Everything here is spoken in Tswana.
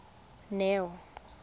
neo